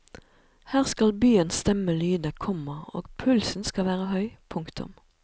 Her skal byens stemme lyde, komma og pulsen skal være høy. punktum